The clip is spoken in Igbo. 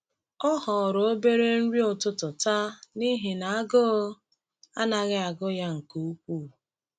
Ọ họọrọ obere nri ụtụtụ taa n’ihi na agụụ anaghị agụ ya nke ukwuu.